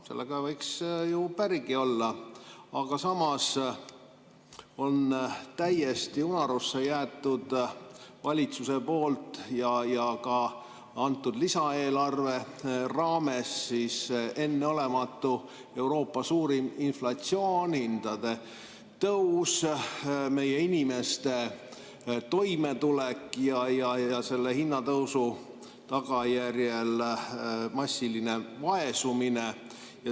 Sellega võiks ju pärigi olla, aga samas on valitsusel täiesti unarusse jäetud, ka antud lisaeelarve raames, enneolematu, Euroopa suurim inflatsioon, hindade tõus, meie inimeste toimetulek ja selle hinnatõusu tagajärjel massiline vaesumine.